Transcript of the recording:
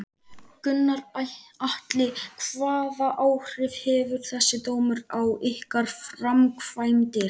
Gunnar Atli: Hvaða áhrif hefur þessi dómur á ykkar framkvæmdir?